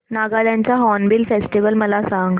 नागालँड चा hornbill festival मला सांग